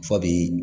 Fɔ bi